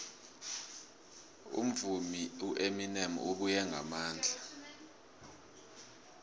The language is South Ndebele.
umvumi ueminem ubuye ngamandla